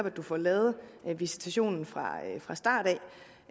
at du får lavet visitationen fra fra starten